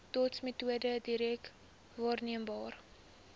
dotsmetode direk waarneembare